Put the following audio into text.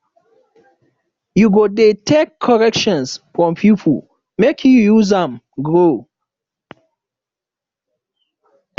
you go dey take corrections from pipo make you use am grow